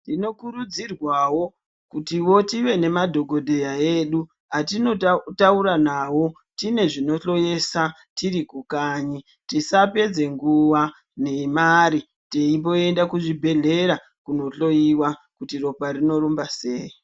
Tinokurudzirwawo kutivo tive nemadhokodheya edu atinotaura nawo tinezvinonhloyisa tiri kukanyi tisapedze nguva nemari teimboende kuzvibhehleya kohloyiwa kuti ropa rinorumba sei.